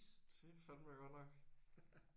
Det er fandeme godt nok